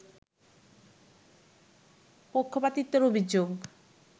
পক্ষপাতিত্বের অভিযোগ